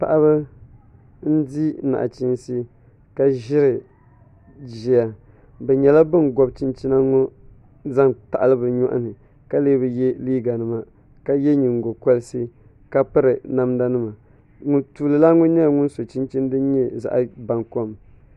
Paɣaba n di nachiinsi ka ʒiri ʒiya bi nyɛla bin gobi chinchina ŋɔ zaŋ taɣali bi nyoɣani ka lee bi yɛ liiga nima ka yɛ nyingokoriti ka piri namda nima tuuli lan ŋɔ nyɛla ŋun so chinchin din nyɛ zaɣ baŋkom